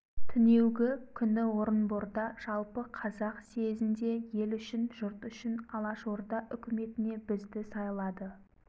түнеугі күні орынборда жалпы қазақ съезінде ел үшін жұрт үшін алашорда үкіметіне бізді сайлады